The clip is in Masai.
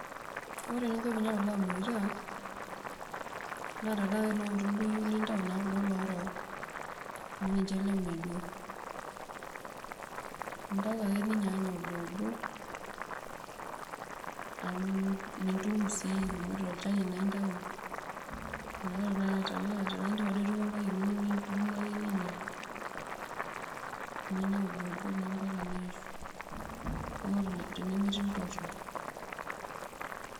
Ore eninko peinya kulo aimurutiak naa tanaaloota duo iyieu nintau nintau kuko oorok, amu ninche lemedua, indau ake ninyaanyaa oboobo amu tolchani naa intau neaku nidumu ake ninya, ninya oboobo ambaka ningoru tenemetii ltorok.